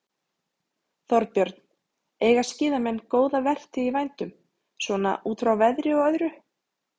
Þorbjörn: Eiga skíðamenn góða vertíð í vændum, svona út frá veðri og öðru?